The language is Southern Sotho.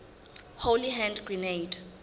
holy hand grenade